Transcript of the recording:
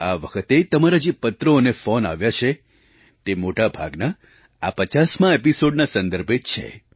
આ વખતે તમારા જે પત્રો અને ફૉન આવ્યા છે તે મોટા ભાગના આ 50મા એપિસૉડના સંદર્ભે જ છે